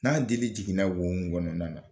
N'a dlii jiginna wo min kɔnɔnan na